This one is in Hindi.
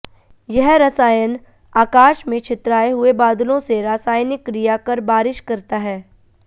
यह रसायन आकाश में छितराए हुए बादलों से रासायनिक क्रिया कर बारिश करता है